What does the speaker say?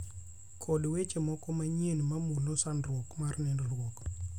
kod weche mamoko manyien ma mulo sandruok mar nindruok